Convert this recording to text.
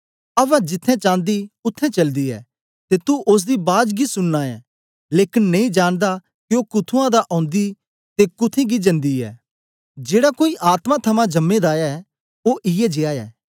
अवा जिथें चांदी उत्थें चलदी ऐ ते तू ओसदी बाज गी सुनना ऐ लेकन नेई जानदा के ओ कुत्थुआं ओंदी दी ते कुत्थें गी जंदी ऐ जेड़ा कोई आत्मा थमां जमें दा ऐ ओ इयै जीया ऐ